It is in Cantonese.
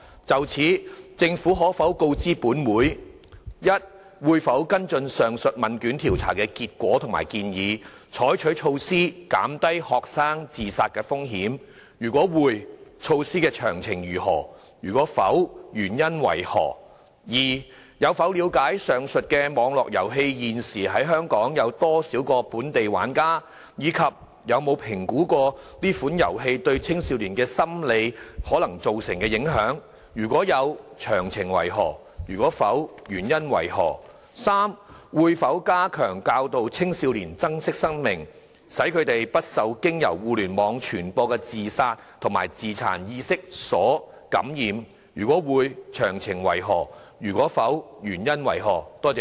就此，政府可否告知本會：一會否跟進上述問卷調查的結果及建議，採取措施減低學生自殺風險；如會，措施的詳情為何；如否，原因為何；二有否了解上述網絡遊戲現時有多少個本地玩家，以及有否評估該款遊戲對青少年心理可能造成的影響；如有，詳情為何；如否，原因為何；及三會否加強教導青少年珍惜生命，使他們不受經由互聯網傳播的自殺及自殘意識所感染；如會，詳情為何；如否，原因為何？